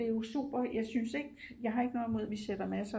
Det er jo super jeg synes ikke jeg har ikke noget imod vi sætter masser